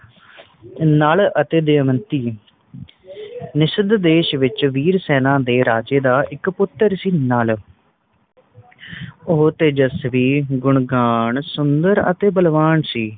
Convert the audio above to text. ਨੱਲ ਅਤੇ ਦਮਯੰਤੀ ਨਿਸ਼ਦ ਦੇਸ਼ ਵਿਚ ਵੀਰ ਸੈਨਾ ਦੇ ਰਾਜੇ ਦਾ ਇਕ ਪੁੱਤਰ ਸੀ ਨੱਲ ਉਹ ਤੇਜਸਵੀ ਗੁਣਵਾਨ ਸੁੰਦਰ ਅਤੇ ਬਲਵਾਨ ਸੀ